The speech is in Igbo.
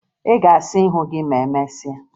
Ị ga-asa ihu gị ma emesịa?